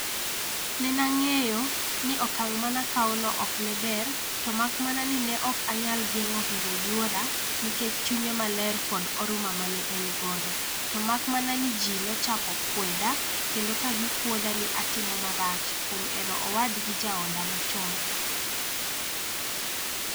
Nena ng'eyo ni okang' manakaono okneber to makmana ni neok anyal geng'o hero yuora nikech chunye maler kod oruma mane engodo, to makmana ni ji nochako kweda kendo kagikwodha ni atimo marach kuom hero owadgi jaoda machon.